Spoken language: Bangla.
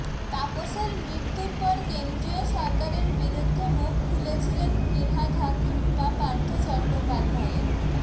তাপসের মৃত্যুর পর কেন্দ্রীয় সরকারের বিরুদ্ধে মুখ খুলেছিলেন ফিরহাদ হাকিম বা পার্থ চট্টোপাধ্যায়ের